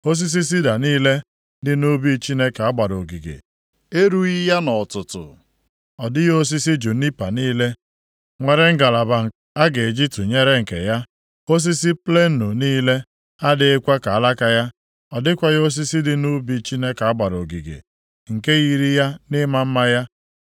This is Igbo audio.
Osisi sida niile dị nʼubi Chineke a gbara ogige erughị ya nʼọtụtụ. Ọ dịghị osisi junipa niile nwere ngalaba a ga-eji tụnyere nke ya, osisi plenụ niile adịghịkwa ka alaka ya, ọ dịghịkwa osisi dị nʼubi Chineke a gbara ogige, nke yiri ya nʼịma mma ya